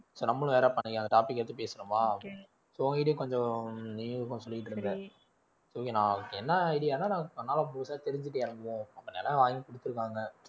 so நம்மளும் வேற topic எடுத்து பேசனோமா so உங்ககிட்டயும் கொஞ்சம் நீயும் கொஞ்சம் சொல்லிட்டு இருந்தே okay நான் என்ன idea ன்னா நான் பண்ணாலும் புதுசா தெரிஞ்சுட்டு இறங்குவோம் நிலம் வாங்கி கொடுத்திருக்காங்க